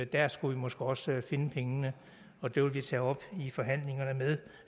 der skulle vi måske også finde pengene og det vil vi tage op i forhandlingerne med